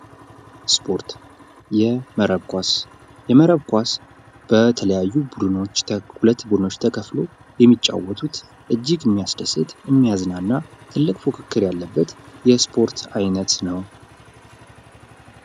ስፖርት የመረብ ኳስ የመረብ ኳስ በተለያዩ ሁለት ቡድኖች ተከፍሎ እጅግ የሚያስደስት፣ የሚያዝናና ትልቅ ፉክክር ያለበት የስፖርት ዓይነት ነው።